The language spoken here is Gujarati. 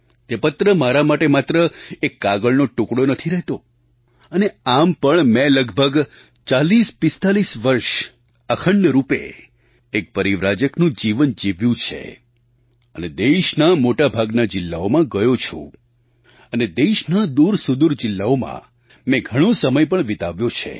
તે પત્ર મારા માટે માત્ર એક કાગળનો ટુકડો નથી રહેતો અને આમ પણ મેં લગભગ 4045 વર્ષ અખંડ રૂપે એક પરિવ્રાજકનું જીવન જીવ્યું છે અને દેશના મોટા ભાગના જિલ્લાઓમાં ગયો છું અને દેશના દૂરસુદૂર જિલ્લાઓમાં મેં ઘણો સમય પણ વિતાવ્યો છે